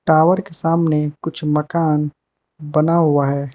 Tower के सामने कुछ मकान बना हुआ है।